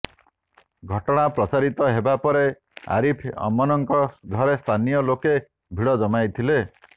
ଘଟଣା ପ୍ରଚାରିତ ହେବା ପରେ ଅରିଫ ଅମନଙ୍କ ଘରେ ସ୍ଥାନୀୟ ଲୋକେ ଭିଡ ଜମାଇଥିଲେ